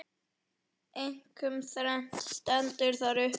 Einkum þrennt stendur þar uppúr.